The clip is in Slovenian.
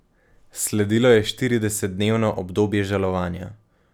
Sledilo je štiridesetdnevno obdobje žalovanja.